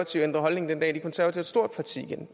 synes